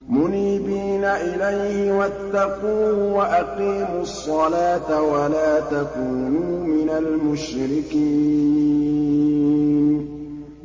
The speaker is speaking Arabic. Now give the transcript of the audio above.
۞ مُنِيبِينَ إِلَيْهِ وَاتَّقُوهُ وَأَقِيمُوا الصَّلَاةَ وَلَا تَكُونُوا مِنَ الْمُشْرِكِينَ